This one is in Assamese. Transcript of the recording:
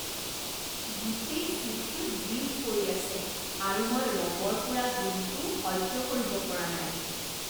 গোটেই ছিটটোত গ্ৰীজ পৰি আছে আৰু মই ৰবৰ পোৰা গোন্ধটোও সহ্য কৰিব পৰা নাই।